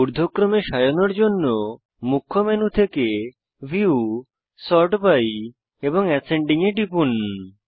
ঊর্ধ্বক্রমে সাজানোর জন্য মুখ্য মেনু থেকে ভিউ সর্ট বাই এবং অ্যাসেন্ডিং এ টিপুন